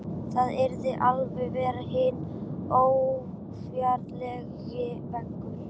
Það yrði að vera hinn órjúfanlegi veggur.